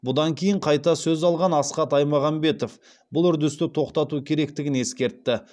бұдан кейін қайта сөз алған асхат аймағамбетов бұл үрдісті тоқтату керектігін ескертті